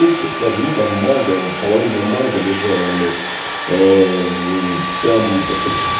укты там ну там манго половина манго лежала блять там так сказать